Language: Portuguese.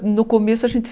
No começo a gente